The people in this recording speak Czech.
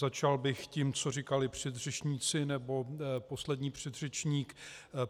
Začal bych tím, co říkali předřečníci, nebo poslední předřečník.